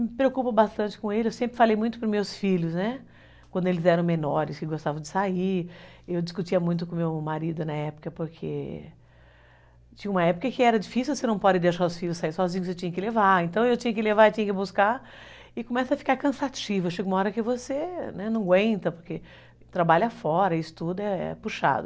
Me preocupo bastante com ele, eu sempre falei muito para os meus filhos, quando eles eram menores, que gostavam de sair, eu discutia muito com o meu marido na época, porque tinha uma época que era difícil, você não pode deixar os seus filhos saírem sozinhos, você tinha que levar, então eu tinha que levar, tinha que buscar, e começa a ficar cansativo, chega uma hora que você, né, não aguenta, porque trabalha fora, isso tudo é é puxado.